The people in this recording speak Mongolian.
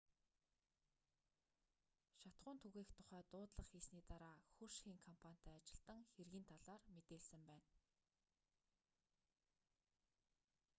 шатахуун түгээх тухай дуудлага хийсний дараа хөрш хийн компанитай ажилтан хэргийн талаар мэдээлсэн байна